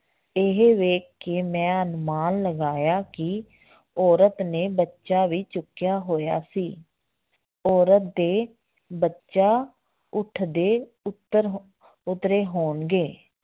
ਇਹ ਵੇਖ ਕੇ ਮੈਂ ਅਨੁਮਾਨ ਲਗਾਇਆ ਕਿ ਔਰਤ ਨੇ ਬੱਚਾ ਵੀ ਚੁੱਕਿਆ ਹੋਇਆ ਸੀ ਔਰਤ ਦੇ ਬੱਚਾ ਊਠ ਦੇ ਉਤਰ ਹੋ~ ਉਤਰੇ ਹੋਣਗੇ